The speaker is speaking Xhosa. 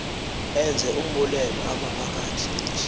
enze umbulelo amaphakathi